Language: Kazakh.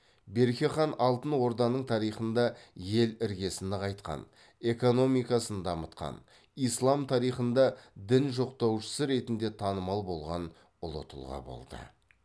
берке хан алтын орданың тарихында ел іргесін нығайтқан экономикасын дамытқан ислам тарихында дін жоқтаушысы ретінде танымал болған ұлы тұлға болды